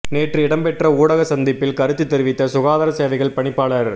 நேற்று இடம்பெற்ற ஊடக சந்திப்பில் கருத்து தெரிவித்த சுகாதார சேவைகள் பணிப்பாளர்